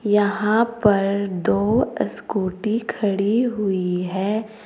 यहां पर दो स्कूटी खड़ी हुई है।